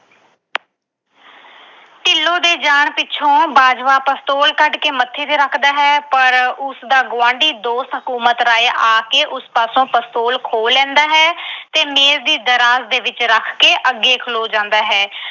ਢਿੱਲੋਂ ਦੇ ਜਾਣ ਮਗਰੋਂ ਬਾਜਵਾ pistol ਕੱਢ ਕੇ ਮੱਥੇ ਤੇ ਰੱਖਦਾ ਹੈ ਪਰ ਉਸਦਾ ਗੁਆਂਢੀ ਦੋਸਤ ਹਕੂਮਤ ਰਾਏ ਆ ਕੇ ਉਸ ਪਾਸੋਂ pistol ਖੋਹ ਲੈਂਦਾ ਹੈ ਤੇ ਮੇਜ ਦੀ ਦਰਾਜ ਵਿੱਚ ਰੱਖ ਕੇ ਅੱਗੇ ਖਲੋ ਜਾਂਦਾ ਹੈ।